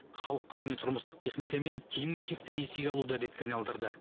халық көбіне тұрмыстық техника мен киім кешекті несиеге алуды әдетке айналдырды